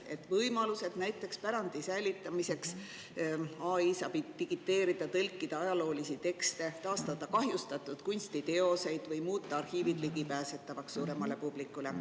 Näiteks võimalused pärandi säilitamiseks: AI saab digiteerida, tõlkida ajaloolisi tekste, taastada kahjustatud kunstiteoseid või muuta arhiivid ligipääsetavaks suuremale publikule.